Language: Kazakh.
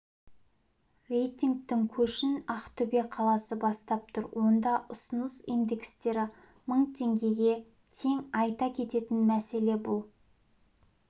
рейтингтің көшін ақтөбе қаласы бастап тұр онда ұсыныс индекстері мың теңгеге тең айта кететін мәселе бұл